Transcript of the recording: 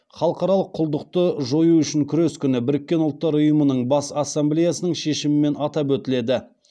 халықаралық құлдықты жою үшін күрес күні біріккен ұлттар ұйымының бас ассамблеясының шешімімен атап өтіледі